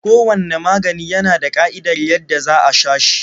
Kowanne magani yana da ƙa'idar yadda za a sha shi.